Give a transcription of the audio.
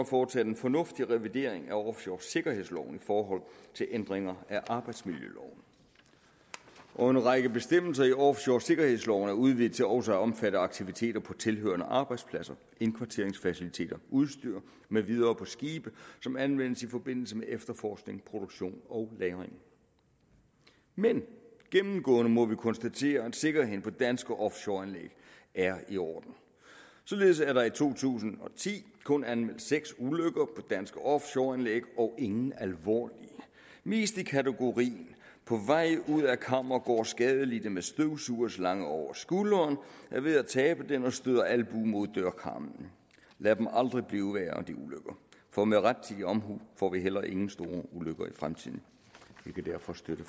foretaget en fornuftig revidering af offshoresikkerhedsloven i forhold til ændringer af arbejdsmiljøloven og en række bestemmelser i offshoresikkerhedsloven er udvidet til også at omfatte aktiviteter på tilhørende arbejdspladser indkvarteringsfaciliteter udstyr med videre på skibe som anvendes i forbindelse med efterforskning produktion og lagring men gennemgående må vi konstatere at sikkerheden på danske offshoreanlæg er i orden således er der i to tusind og ti kun anmeldt seks ulykker på danske offshoreanlæg og ingen af dem alvorlige mest i kategorien på vej ud af kammer går skadelidte med støvsugerslange over skulderen er ved at tabe den og støder albuen mod dørkarmen lad aldrig de ulykker blive for med rettidig omhu får vi heller ikke nogen store ulykker i fremtiden vi kan derfor støtte